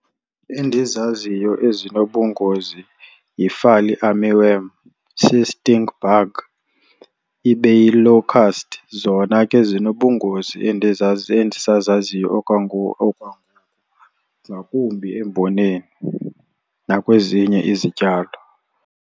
Endizaziyo ezinobungozi yi-fall armyworm, si-stink bug, ibe yi-locust. Zona ke zinobungozi endisazaziyo okwangoku, ngakumbi emboneni nakwezinye izityalo.